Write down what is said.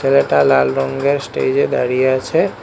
ছেলেটা লাল রঙ্গের স্টেজ এ দাঁড়িয়ে আছে।